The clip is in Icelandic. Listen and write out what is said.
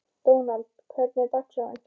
Dónald, hvernig er dagskráin?